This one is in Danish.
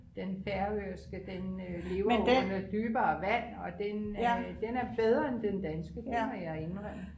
Den færøske den øh lever jo under dybere vand og den øh den er bedre end den danske det må jeg indrømme